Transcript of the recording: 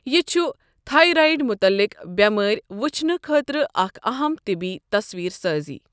یہِ چھُ تھایرایِڑ مُتلِق بٮ۪مٲرۍ وُچھنہٕ خٲطرٕ اَکھ اَہَم طِبی تَصویر سٲزی۔